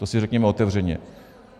To si řekněme otevřeně.